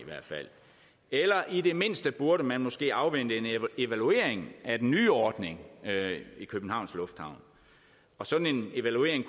eller i det mindste burde man måske afvente en evaluering af den nye ordning i københavns lufthavn og sådan en evaluering